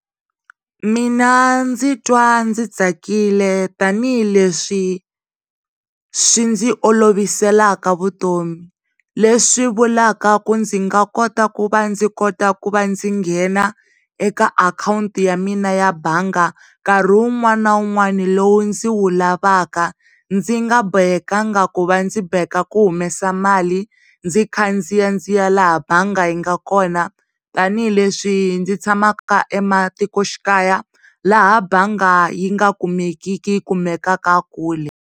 Mina ndzi twa ndzi tsakile tanihi le swi swi ndzi oloviselaka vutomi le swi vulavula ku ndzi nga kota ku va ndzi kota ku va ndzi nghena eka akhawunti ya mina ya mbanga nkarhi wun'wani na wun'wani lowu ndzi wu lavaka ndzi nga bohekanga ku va ndzi boheka ku humesa mali ndzi khandziya ndziya laha banga yi nga kona tanihi le swi ndzi tshamaka ematikoxikaya laha bangi yi nga kumekiki yi kumekaka kule.